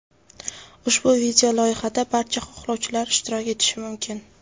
Ushbu video-loyihada barcha xohlovchilar ishtirok etishi mumkin.